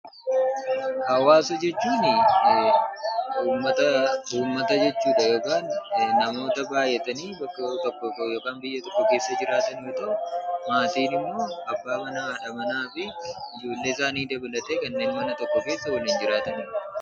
Hawwaasa jechuun namoota jechuudha yookiin immoo ummata walitti qabamee bakka tokko keessa waliin jiraatu jechuu dha. Maatii jechuun immoo abbaa manaa, haadha manaa fi ijoollee dabalatee mana tokko keessa kan waliin jiraatanii dha.